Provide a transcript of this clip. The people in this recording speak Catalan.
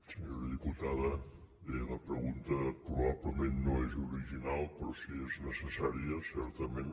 senyora diputada bé la pregunta probablement no és original però sí que és necessària certament